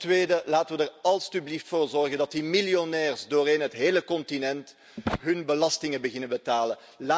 Ten tweede laten we er alstublieft voor zorgen dat die miljonairs op het hele continent hun belastingen beginnen te betalen.